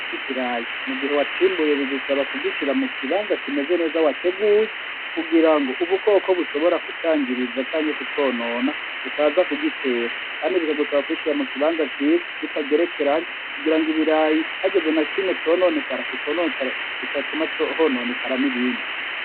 Ico kirayi mu gihe wacimbuye bigusaba kugishira mu kibanza kimeze neza wateguye kugira ngo ubukoko bushobora kucangiriza canke kuconona butaza kugitera, kandi biragusaba kugishira mu kibanza ciza bitagerekeraya kugira ng'ibirayi hageze na kimwe cononekara kidatuma hononekara n'ibindi.